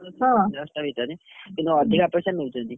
ଦଶଟା ଭିତରେ, କିନ୍ତୁ ଅଧିକା ପଇସା ନଉଛନ୍ତି।